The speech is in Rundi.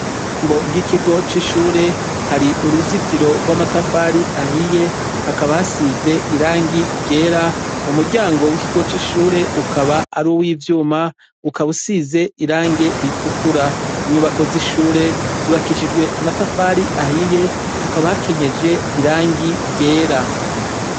Irembo ry'ikigo c'ishure hari uruzitiro rw'amatafari ahiye, hakaba hasize irangi ryera, umuryango w'ikigo c'ishure ukaba ar'uw'ivyuma, ukaba usize irangi ritukura. Inyubako z'ishure zubakishijwe amatafari ahiye, hakaba hakenyeje irangi ryera.